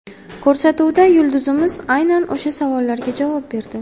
Ko‘rsatuvda yulduzimiz aynan o‘sha savollarga javob berdi.